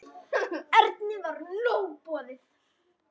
Erni var nóg boðið.